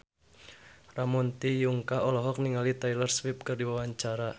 Ramon T. Yungka olohok ningali Taylor Swift keur diwawancara